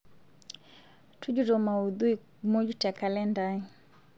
tujuto maudhui muuj te kalenda aai